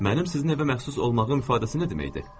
Mənim sizin evə məxsus olmağım ifadəsi nə deməkdir?